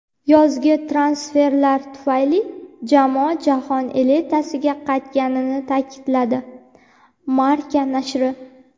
yozgi transferlar tufayli jamoa jahon elitasiga qaytganini ta’kidladi – "Marca" nashri.